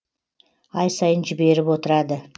ай сайын жіберіп отырады